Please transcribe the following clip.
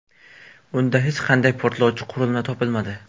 Unda hech qanday portlovchi qurilma topilmadi.